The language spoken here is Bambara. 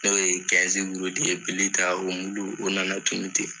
N'o ye wurudi ye ,bili ta o nana tunun ten.